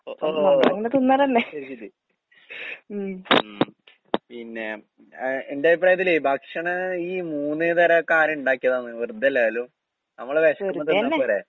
ഒഹ് ഓഹ് അത് ശരി. ഉം. പിന്നെ അഹ് എന്റഭിപ്രായത്തിലേ ഭക്ഷണ ഈ മൂന്ന് നേരൊക്കെ ആരിണ്ടാക്കീതാന്ന് വെറുതല്ലേലും. നമ്മള് വെശക്കുമ്പം തിന്നാപ്പോരേ?